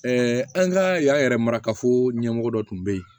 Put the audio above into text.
an ka y'a yɛrɛ marakafo ɲɛmɔgɔ dɔ tun bɛ yen